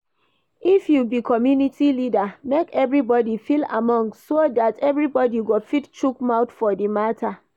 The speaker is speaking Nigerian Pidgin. If you be commumity leader, make everybody feel among so dat everybody go fit chook mouth for di matter